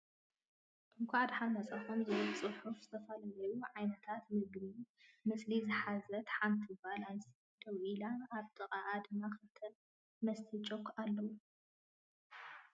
እንኾዕ ድሓን መፃኩም ዝብል ፅሑፍን ዝተፈላለዮ ዓይነታት ምግቢ ምስሊ ዝሓዘንሓንቲ ጎል ኣንስተየቲ ደው ኢላን ኣብ ጥቅኣ ድማ ክልተ መስተይ ቾክ ኣሎ።